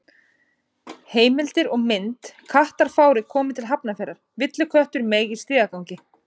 Heimildir og mynd: Kattafárið komið til Hafnarfjarðar: Villiköttur meig í stigagangi.